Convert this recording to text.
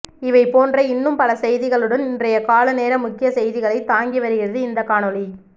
இவை போன்ற இன்னும் பல செய்திகளுடன் இன்றைய காலைநேர முக்கிய செய்திகளை தாங்கி வருகிறது இந்தக் காணொளி